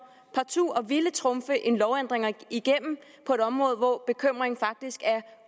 partout at ville trumfe en lovændring igennem på et område hvor bekymringen faktisk er